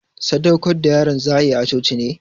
Sadaukar da yaron za'ayi a coci ne.